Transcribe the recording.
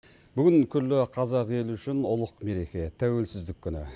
бүгін күллі қазақ елі үшін ұлық мереке тәуелсіздік күні